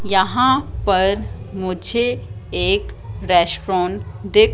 यहां पर मुझे एक रेस्टोरॉन दिख--